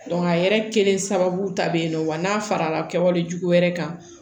a yɛrɛ kelen sababu dɔ be yen nɔ wa n'a fara la kɛwale jugu wɛrɛ kan